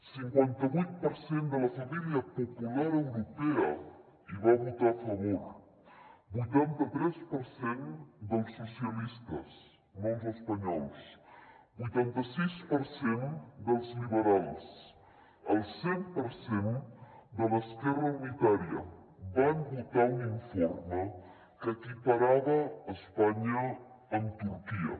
cinquanta vuit per cent de la família popular europea hi va votar a favor vuitanta tres per cent dels socialistes no els espanyols vuitanta sis per cent dels liberals el cent per cent de l’esquerra unitària van votar un informe que equiparava espanya amb turquia